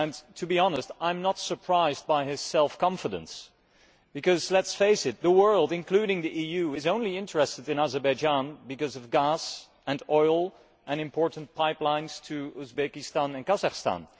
To be honest, I am not surprised by his self confidence because, let us face it, the world, including the EU, is interested in Azerbaijan only because of gas and oil and important pipelines to Uzbekistan and Kazakhstan